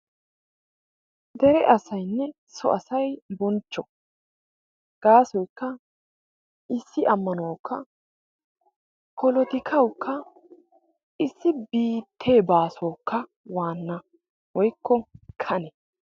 Dere asaynne so asayi bonchcho gaasoyikka issi ammanuwawukka polotikawukka. issi biittee baasuwawukka waanna woykko kane.